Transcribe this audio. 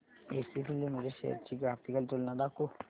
ACC limited shares ची graphical तुलना दाखव